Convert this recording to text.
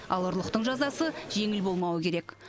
ал ұрлықтың жазасы жеңіл болмауы керек